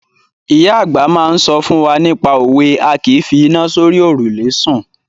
Ìyá àgbà máa ń sọ fún wa nípa òwe "A kìí fi iná sórí òrùlé sùn".